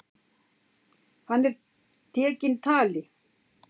Hann er tekinn tali.